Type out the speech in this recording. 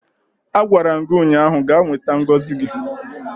Agwara m gi ụnyahụ, gaa nweta ngozi gị!